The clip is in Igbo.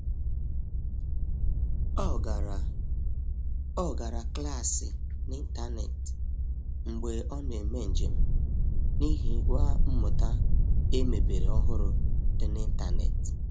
Ọ gara Ọ gara klaasị na ịntanetị mgbe ọ na eme njem, n'ihi gwa mmụta emebere ọhụrụ dị na ịntanetị